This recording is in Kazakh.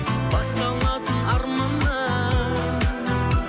басталатын арманнан